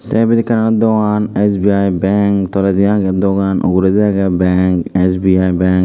te ebet ekkan aro dogan SBI bang toledi agey dogan uguredi agey bang SBI bank.